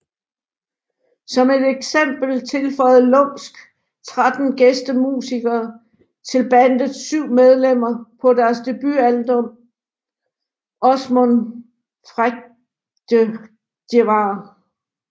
Som et eksempel tilføjede Lumsk tretten gæstemusikere til bandets syv medlemmer på deres debutalbum Åsmund Frægdegjevar